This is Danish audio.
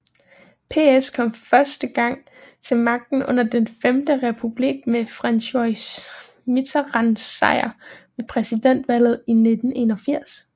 PS kom første gang til magten under Den Femte Republik med François Mitterrands sejr ved præsidentvalget i 1981